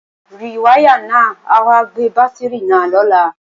Rìwáyà náà ó wá gbé bátìrì náà lọ́la